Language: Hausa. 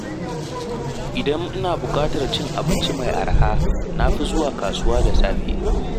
Idan ina buƙatar cin abinci mai araha, na fi zuwa kasuwa da safe.